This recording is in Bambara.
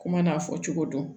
Kuma n'a fɔ cogo dɔn